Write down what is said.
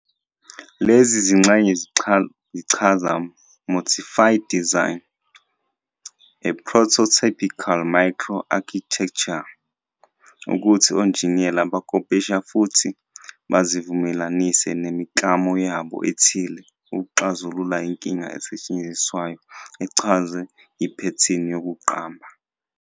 Lezi zingxenye zichaza "motif design" - a prototypical "micro-architecture" ukuthi onjiniyela bakopisha futhi bazivumelanise nemiklamo yabo ethile ukuxazulula inkinga esetshenziswayo echazwe yiphethini yokuqamba.